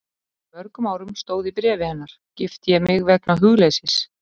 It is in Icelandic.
Fyrir mörgum árum stóð í bréfi hennar, gifti ég mig vegna hugleysis.